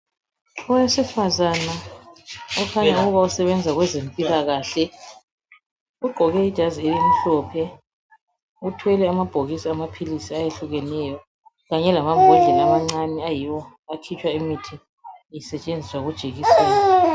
Owesifazana okhanya ukuba usebenza kwezempilakahle ugqoke ijazi elimhlophe uthwele amabhokisi amaphilisi ayehlukeneyo kanye lamabhodlela amancane ayiwo akhitshwa imithi isetshenziswa kujekiseni.